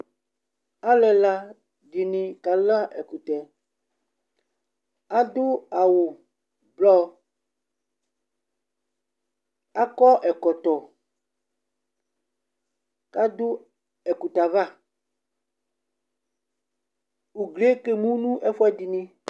Alu ɛla di ni kala ɛkʋtɛ Adu awu blɔ Akɔ ɛkɔtɔ ku adu ɛkutɛ yɛ ava Ugli yɛ kemu nʋ ɛfʋɛdi ni